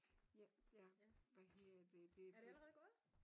Ja hvad hedder det det er fordi